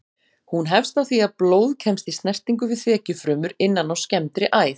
Hún hefst á því að blóð kemst í snertingu við þekjufrumur innan á skemmdri æð.